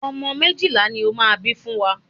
Ọmọ méjìlá ni ó máa bí fún wa.